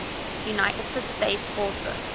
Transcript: united states forces